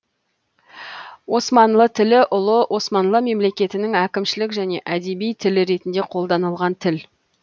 османлы тілі ұлы османлы мемлекетінің әкімшілік және әдеби тілі ретінде қолданылған тіл